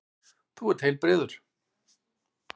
Þú ert heilbrigður.